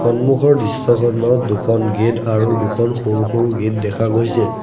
সন্মুখৰ দৃশ্যখনত দুখন গেট আৰু দুখন সৰু সৰু গেট দেখা গৈছে।